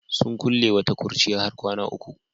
Sun kulle wata kurciya har kwana uku.